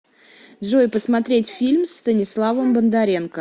джой посмотреть фильм с станиславом бондаренко